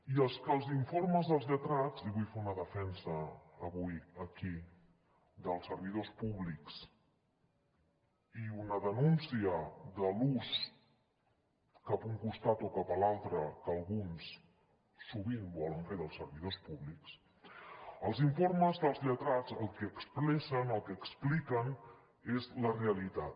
i és que els informes dels lletrats i vull fer una defensa avui aquí dels servidors públics i una denúncia de l’ús cap a un costat o cap a l’altre que alguns sovint volen fer dels servidors públics els informes dels lletrats el que expressen o el que expliquen és la realitat